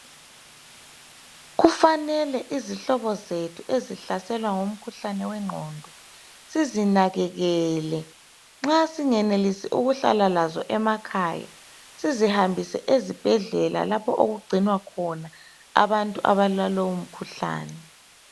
Kufanele izihlobo zethu ezihlaselwa ngumkhuhlane wengqondo sizinakekele nxa singenelisi ukuhlala lazo emakhaya sizihambise eZibhedlela lapho okugcinwa khona abantu abala lowo mkhuhlane.